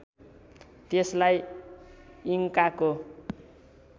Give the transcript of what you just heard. त्यसलाई इङ्काको